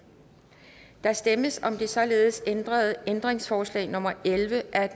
der stemmes om det således ændrede ændringsforslag nummer elleve af